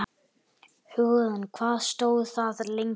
Hugrún: Hvað stóð það lengi?